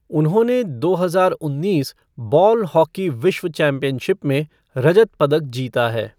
उन्होंने दो हजार उन्नीस बॉल हॉकी विश्व चैम्पियनशिप में रजत पदक जीता है।